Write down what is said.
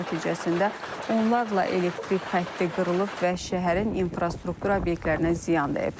Qasırğa nəticəsində onlarla elektrik xətti qırılıb və şəhərin infrastruktur obyektlərinə ziyan dəyib.